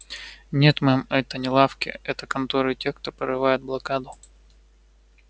нет мэм это не лавки это конторы тех кто прорывает блокаду